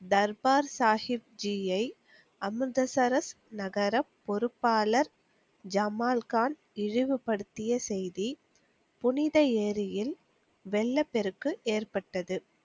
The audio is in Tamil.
தர்பார் சாகிப்ஜியை அமிர்தசரஸ் நகர பொறுப்பாளர் ஜமால்கான் இழிவுபடுத்திய செய்தி புனித ஏரியில் வெள்ளப்பெருக்கு ஏற்ப்பட்டது.